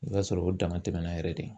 I b'a sɔrɔ o dama tɛmɛna yɛrɛ de.